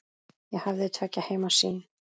Ég hafði tveggja heima sýn.